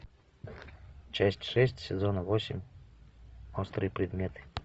часть шесть сезона восемь острые предметы